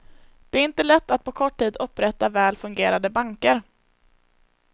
Det är inte lätt att på kort tid upprätta väl fungerande banker.